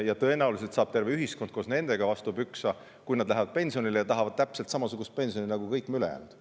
Ja tõenäoliselt saab terve ühiskond koos nendega vastu pükse, kui nad lähevad pensionile ja tahavad täpselt samasugust pensioni nagu kõik ülejäänud.